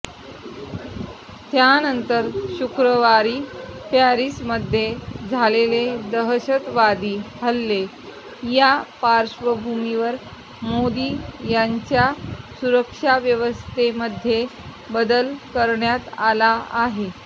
त्यानंतर शुक्रवारी पॅरिसमध्ये झालेले दहशतवादी हल्ले या पार्श्वभूमीवर मोदी यांच्या सुरक्षाव्यवस्थेमध्ये बदल करण्यात आला आहे